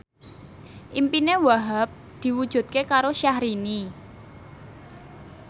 impine Wahhab diwujudke karo Syahrini